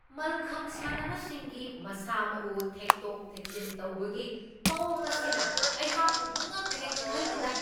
ꯃꯜꯈꯝ ꯁꯥꯟꯅꯕꯁꯤꯡꯒꯤ ꯃꯁꯥ ꯃꯎ ꯊꯦꯛꯇꯣꯛ ꯊꯦꯛꯆꯤꯟ ꯇꯧꯕꯒꯤ ꯃꯑꯣꯡ ꯑꯁꯤꯅ ꯑꯩꯍꯥꯛꯄꯨ ꯄꯨꯡꯉꯛꯍꯦꯛ ꯉꯛꯍꯜꯂꯤꯗꯥ !